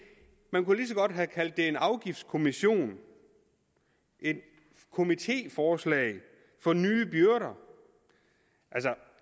man kunne lige så godt have kaldt det en afgiftskommission og et komitéforslag for nye byrder